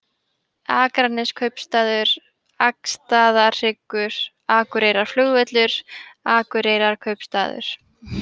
Akraneskaupstaður, Akstaðarhryggur, Akureyrarflugvöllur, Akureyrarkaupstaður